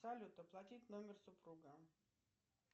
салют оплатить номер супруга